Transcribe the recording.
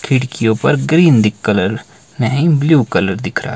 खिड़कियों पर green colour नहीं ब्लू कलर दिख रहा--